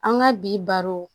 An ka bi baro